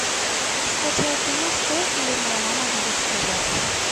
скачай кино стой или моя мама будет стрелять